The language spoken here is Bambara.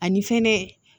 Ani fɛnɛ